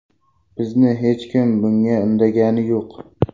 Bizni hech kim bunga undagani yo‘q.